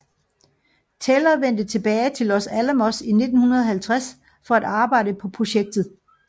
Teller vendte tilbage til Los Alamos i 1950 for at arbejde på projektet